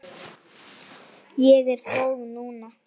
Ég er góð núna.